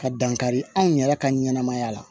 Ka dankari anw yɛrɛ ka ɲɛnamaya la